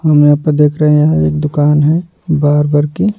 हम यहाँ पर देख रहे हैं एक दुकान है बारबर की --